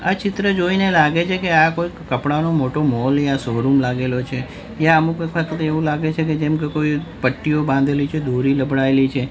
આ ચિત્ર જોઈને લાગે છે કે આ કોઇક કપડાનો મોટો મૉલ યા શોરૂમ લાગેલો છે ત્યાં અમુક વખત તો એવુ લાગે છે કે જેમકે કોઈ પટ્ટીઓ બાંધેલી છે દોરી લબડાયેલી છે.